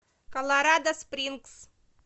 колорадо спрингс